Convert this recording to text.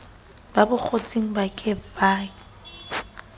ba bokgotsing ba ke ke